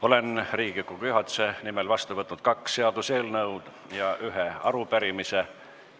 Olen Riigikogu juhatuse nimel vastu võtnud kaks seaduseelnõu ja ühe arupärimise.